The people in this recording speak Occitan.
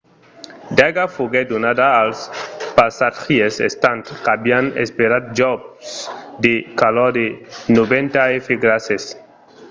d'aiga foguèt donada als passatgièrs estant qu'avián esperat jos de calors de 90 f grases